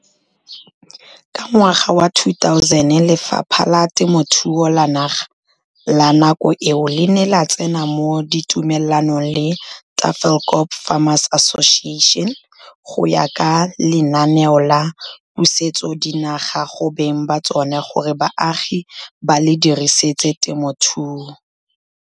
Ka ngwaga wa 2000, Lefapha la Temothuo la naga la nako eo le ne la tsena mo ditumelanong le Tafelkop Farmers Association go ya ka Lenaane la Pusetsodinaga go Beng ba Tsona gore Baagi ba le Dirisetse Temothuo.